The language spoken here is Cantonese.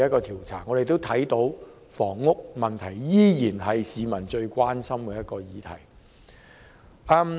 調查結果顯示，房屋問題依然是市民最關心的議題。